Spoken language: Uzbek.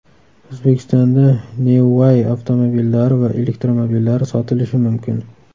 O‘zbekistonda NeuWai avtomobillari va elektromobillari sotilishi mumkin.